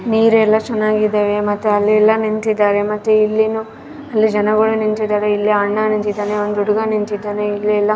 ನೀರೆಲ್ಲ ಚೆನ್ನಾಗಿದೆ ಮತ್ತೆ ಅಲ್ಲೆಲ್ಲ ನಿಂತಿದ್ದಾರೆ ಮತ್ತೆ ಇಲ್ಲಿನೂ ಎಲ್ಲ ಜನಗಳು ನಿಂತಿದ್ದಾರೆ ಇಲ್ಲಿ ಅಣ್ಣ ನಿಂತಿದ್ದಾನೆ ಒಂದು ಹುಡುಗ ನಿಂತಿದ್ದಾನೆ ಇಲ್ಲಿ ಎಲ್ಲ.